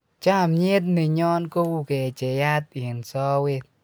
chamiet ne nyo ko u kecheyat eng' sowet